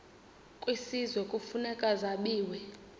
kwisizwe kufuneka zabiwe